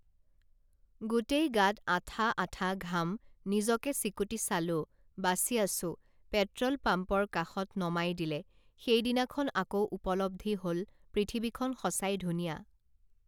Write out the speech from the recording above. গোটেই গাত আঠা আঠা ঘাম নিজকে চিকুটি চালো বাচি আছো পেট্রল পাম্পৰ কাষত নমাই দিলে সেইদিনাখন আকৌ উপলদ্ধি হল পৃথিৱীখন সচাই ধুনীয়া